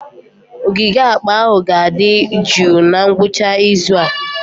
Ogige akpa ahụ ga-adị jụụ na ngwụcha izu a.